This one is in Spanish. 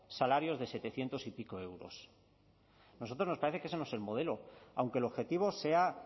salarios de setecientos y pico euros a nosotros nos parece que ese no es el modelo aunque el objetivo sea